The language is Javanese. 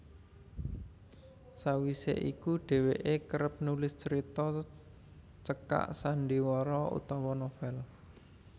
Sawise iku dheweke kerep nulis carita cekak sandhiwara utawa novel